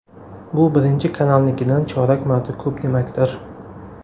Bu Birinchi kanalnikidan chorak marta ko‘p demakdir.